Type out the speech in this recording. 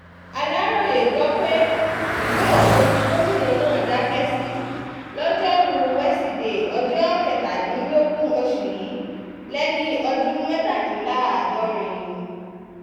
aláròye um gbọ́ pé ìlú èkó ni gómìnà náà um dákẹ́ sí lọ́jọ́rùú wẹsídẹ̀ẹ́ ọjọ́ kẹtàdínlógún oṣù yìí lẹ́ni ọdún mẹ́tàdínláàádọ́rin